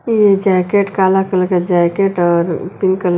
यह जैकेट काला कलर का जैकेट और पिंक कलर --